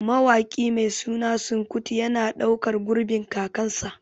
Mawaƙi mai suna Seun Kuti yana ɗaukan gurbin kakansa